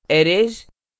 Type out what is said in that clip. arrays